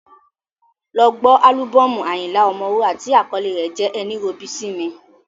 Lọ ọ gbọ́ álúbọ́ọ̀mù Ayinla Omowura tí àkọlé rẹ̀ jẹ́ “ ẹní robi sími”.